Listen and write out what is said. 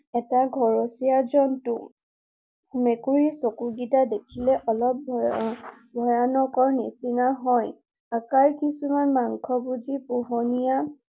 এটা ঘৰচীয়া জন্তু। মেকুৰীৰ চকু কেইটা দেখিলে অলপ ভয়ানকৰ নিচিনা হয়। তাৰ কিছুমান মাংসভোজী পোহনীয়া